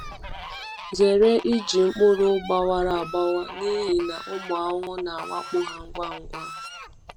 Zere iji mkpụrụ gbawara agbawa n’ihi na ụmụ ahụhụ na-awakpo ha ngwa ngwa.